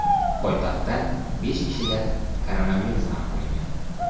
Poytaxtda besh kishida koronavirus aniqlangan.